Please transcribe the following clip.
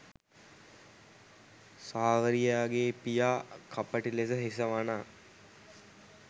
සාවරියාගේ පියා කපටි ලෙස හිස වනා